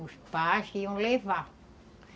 Os pais que iam levar.